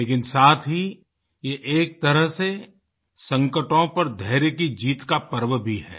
लेकिन साथ ही ये एक तरह से संकटों पर धैर्य की जीत का पर्व भी है